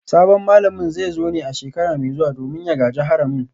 Sabon malamin zai zo ne a shekara mai zuwa domin ya gaji haramin